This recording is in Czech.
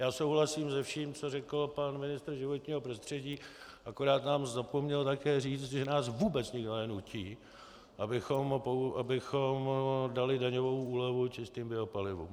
Já souhlasím se vším, co řekl pan ministr životního prostředí, akorát nám zapomněl také říct, že nás vůbec nikdo nenutí, abychom dali daňovou úlevu čistým biopalivům.